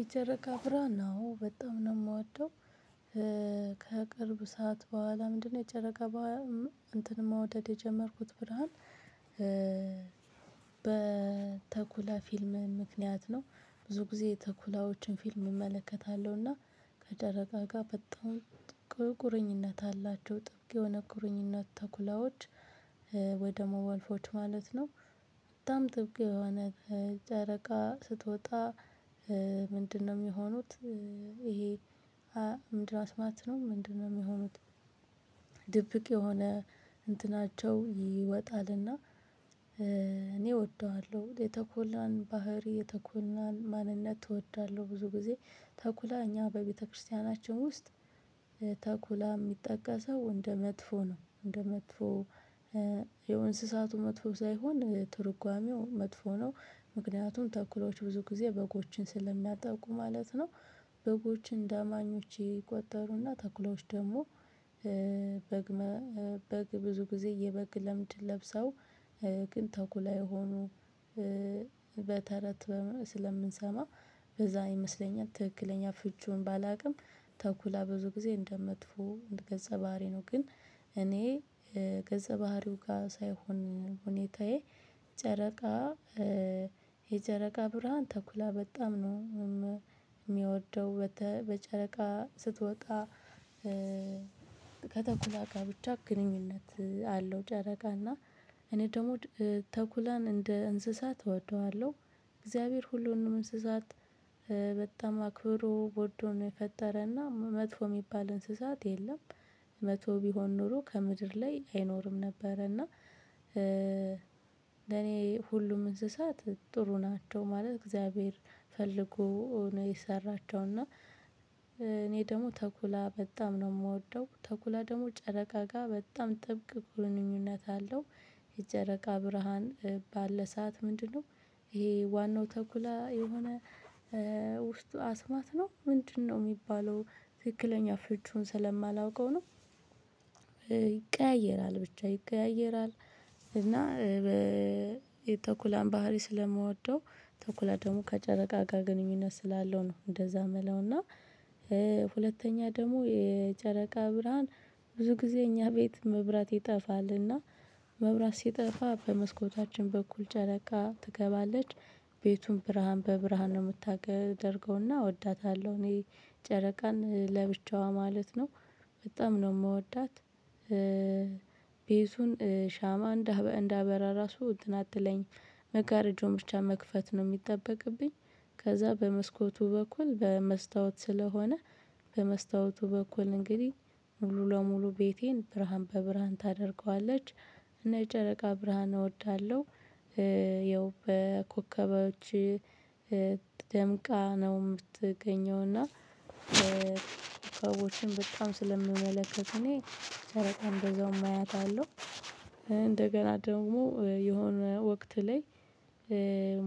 የጨረቃ ብርሃን ነው በጣም ነው የምወደው። ከቅርብ ሰዓት በኋላ ምንድነው? የጨረቃ በኋላ እንትን መውደድ የጀመርኩት ብርሃን። በተኩላ ፊልም ምክንያት ነው ብዙ ጊዜ ተኩላዎችን ፊልም እመለከታለሁና። ከጨረቃ ጋር በጣም ቁርኝነት አላቸው ጥብቅ የሆነ ቁርኝነት ተኩላዎች ወደ መዋልፎች ማለት ነው። በጣም ጥብቅ የሆነ ጨረቃ ስትወጣ ምንድነው የሚሆኑት? ይሄ ምንድነው አስማት ነው ምንድነው የሚሆኑት? ድብቅ የሆነ እንትናቸው ይወጣልና። እኔ እወደዋለው የተኩላን ባህሪ የተኩላን ማንነት እወዳለው። ብዙ ግዜ ተኩላ እኛ በቤተክርስቲያናችን ውስጥ ተኩላ ሚጠቀሰው እንደ መጥፎ ነው እንደ መጥፎ ያው እንስሳቱ መጥፎ ሳይሆን ትርጓሜው መጥፎ ነው። ምክንያቱም ተኩላዎች ብዙ ግዜ በጎችን ስለሚያጠቁ ማለት ነው። በጎች እንደአማኞች ይቆጠሩና ተኩላዎች ደሞ በግ በግ ብዙ ግዜ የበግ ለምድ ለብሰው ግን ተኩላ የሆኑ። በተረት ስለምንሰማ በዛ ይመስለኛል ትክክለኛ ፍቺውን ባላቅም። ተኩላ ብዙ ግዜ እንደመጥፎ ገጸ ባህሪ ነው። ግን እኔ ገጸ ባህሪው ጋ ሳይሆን ሁኔታዬ ጨረቃ የጨረቃ ብርሃን ተኩላ በጣም ነው። ሚወደው በጨረቃ ስትወጣ ከተኩላ ጋ ብቻ ግንኙነት አለው። ጨረቃ እና እኔ ደሞ ተኩላን እንደ እንስሳት እወደዋለው። እግዚአብሔር ሁሉንም እንስሳት በጣም አክብሮ ወዶ ነው የፈጠረና መጥፎ ሚባል እንስሳት የለም። መጥፎ ቢሆን ኖሮ ከምድር ላይ አይኖርም ነበረና። ለኔ ሁሉም እንስሳት ጥሩ ናቸው ማለት እግዚአብሔር ፈልጎ ነው የሰራቸውና። እኔ ደሞ ተኩላ በጣም ነው ምወደው ተኩላ ደሞ ጨረቃ ጋ በጣም ጥብቅ ግንኙነት አለው። የጨረቃ ብርሃን ባለ ሰዓት ምንድነው? ይሄ ዋናው ተኩላ የሆነ ውስጡ አስማት ነው ምንድነው ሚባለው? ትክክለኛ ፍቺውን ስለማላውቀው ነው። ይቀያየራል ብቻ ይቀያየራል። እና የተኩላን ባህሪ ስለምወደው ተኩላ ደሞ ከጨረቃ ጋ ግንኙነት ስላለው ነው እንደዛ ምለውና። ሁለተኛ ደሞ የጨረቃ ብርሃን ብዙ ግዜ እኛ ቤት መብራት ይጠፋልና መብራት ሲጠፋ በመስኮታችን በኩል ጨረቃ ትገባለች። ቤቱን ብርሃን በብርሃን ነው ምታደርገውና እወዳታለው እኔ ጨረቃን ለብቻዋ ማለት ነው በጣም ነው ምወዳት። ቤቱን ሻማ እንዳበራ ራሱ እንትን አትለኝም መጋረጃውን ብቻ መክፈት ነው ሚጠበቅብኝ። ከዛ በመስኮቱ በኩል በመስታወት ስለሆነ በመስታወቱ በኩል እንግዲ ሙሉ ለሙሉ ቤቴን ብርሃን በብርሃን ታደርገዋለች። እና የጨረቃ ብርሃን እወዳለው። ይኸው በኮከቦች ደምቃ ነው ምትገኘው እና ኮከቦችን በጣም ስለምመለከት እኔ ጨረቃን በዛውም አያታለው። እንደገና ደግሞ የሆነ ወቅት ላይ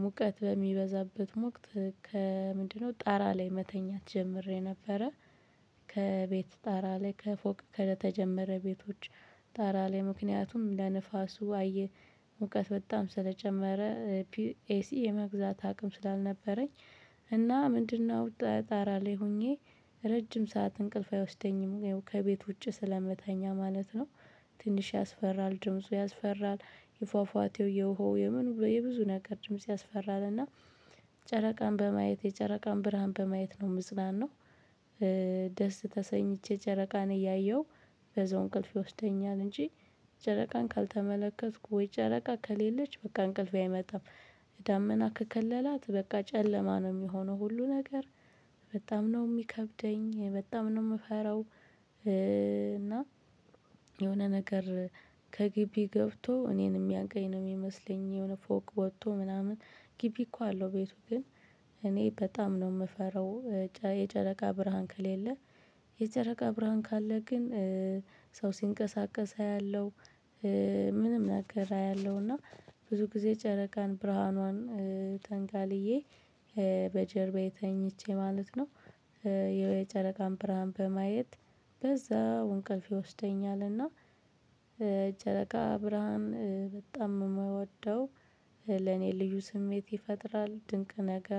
ሙቀት በሚበዛበት ወቅት ከምንድነው ጣራ ላይ መተኛት ጀምሬ ነበረ። ከቤት ጣራ ላይ ከፎቅ ከተጀመረ ቤቶች ጣራ ላይ ምክንያቱም ለንፋሱ አየ ሙቀት በጣም ስለጨመረ ኤሲ የመግዛት አቅም ስላልነበረኝ። እና ምንድነው ጣራ ላይ ሆኜ ረጅም ሰዓት እንቅልፍ አይወስደኝም ያው ከቤት ውጪ ስለምተኛ ማለት ነው። ትንሽ ያስፈራል ድምፁ ያስፈራል። የፏፏቴው የውሀው የምኑ የብዙ ነገር ድምጽ ያስፈራልና። ጨረቃን በማየት የጨረቃን ብርሃን በማየት ነው ምጽናናው። ደስ ተሰኝቼ ጨረቃን እያየው በዛው እንቅልፍ ይወስደኛል እንጂ ጨረቃን ካልተመለከትኩ ወይ ጨረቃ ከሌለች በቃ እንቅልፌ አይመጣም። ዳመና ከከለላት በቃ ጨለማ ነው ሚሆነው ሁሉ ነገር። በጣም ነው ሚከብደኝ በጣም ነው ምፈራው። እና የሆነ ነገር ከግቢ ገብቶ እኔን ሚያንቀኝ ነው ሚመስለኝ የሆነ ፎቅ ወቶ ምናምን ግቢ እኮ አለው ቤቱ ግን እኔ በጣም ነው ምፈራው። የጨረቃ ብርሃን ከሌለ የጨረቃ ብርሃን ካለ ግን ሰው ሲንቀሳቀስ አያለው። ምንም ነገር አያለው እና ብዙ ግዜ ጨረቃን ብርሃኗን ተንጋልዬ በጀርባዬ ተኝቼ ማለት ነው። የጨረቃን ብርሃን በማየት በዛው እንቅልፍ ይወስደኛል እና የጨረቃ ብርሃን በጣም ነው ምወደው። ለኔ ልዩ ስሜት ይፈጥራል ድንቅ ነገር